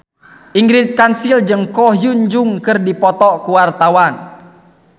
Ingrid Kansil jeung Ko Hyun Jung keur dipoto ku wartawan